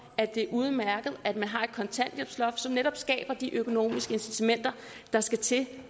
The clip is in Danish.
at det er udmærket at man har et kontanthjælpsloft som netop skaber de økonomiske incitamenter der skal til